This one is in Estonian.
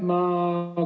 Aitäh!